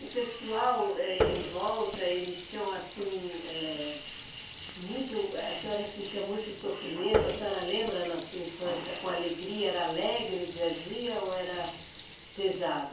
O pessoal em volta, eles tinham assim, eh, muito, a senhora sentia muito sofrimento, a senhora lembra na sua infância com alegria, era alegre o dia a dia ou era pesado?